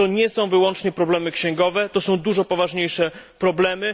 To nie są wyłącznie problemy księgowe, to są dużo poważniejsze problemy.